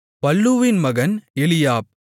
பல்லூவின் மகன் எலியாப்